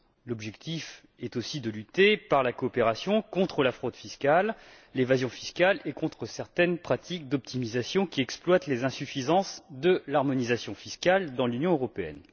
L'objectif est aussi de lutter, par la coopération, contre la fraude et l'évasion fiscales et contre certaines pratiques d'optimisation qui exploitent les insuffisances de l'harmonisation fiscale dans l'Union européenne.